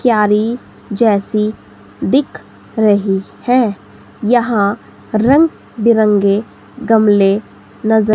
क्यारी जैसी दिख रही है। यहां रंग बिरंगे गमले नजर--